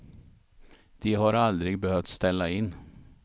De har aldrig behövt ställa in.